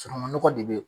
Sunungunɔgɔ de be yen